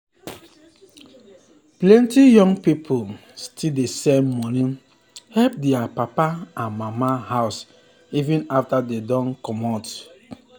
plenty young pipo still dey send money help their papa and mama house even after dem don comot.